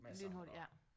Lynhurtigt ja